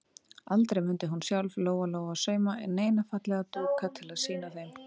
Aldrei mundi hún sjálf, Lóa-Lóa, sauma neina fallega dúka til að sýna þeim.